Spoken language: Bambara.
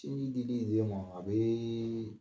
Tini dili den ma, a bee